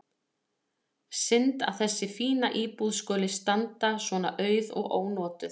Synd að þessi fína íbúð skuli standa svona auð og ónotuð.